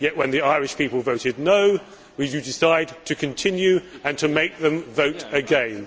Yet when the Irish people voted no' we decided to continue and to make them vote again.